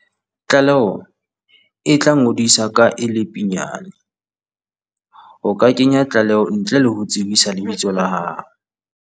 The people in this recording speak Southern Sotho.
Tlaleo e tlangodiswa ka e le pinyane. O ka kenya tlaleo ntle le ho tsebisa lebitso la hao.